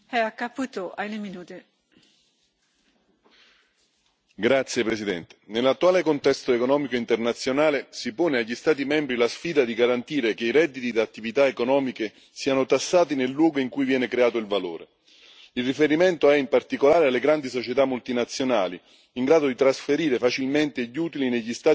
Signora Presidente, onorevoli colleghi, nell'attuale contesto economico internazionale si pone agli Stati membri la sfida di garantire che i redditi da attività economiche siano tassati nel luogo in cui viene creato il valore. Il riferimento è in particolare alle grandi società multinazionali in grado di trasferire facilmente gli utili negli Stati membri con aliquote fiscali più basse.